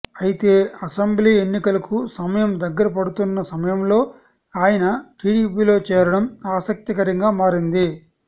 అయితే అసెంబ్లీ ఎన్నికలకు సమయం దగ్గర పడుతున్న సమయంలో ఆయన టీడీపీలో చేరడం ఆసక్తికరంగా మారింది